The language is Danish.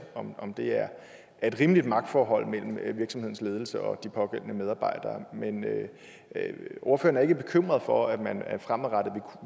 om det er et rimeligt magtforhold mellem virksomhedens ledelse og de pågældende medarbejdere men er ordføreren ikke bekymret for at man fremadrettet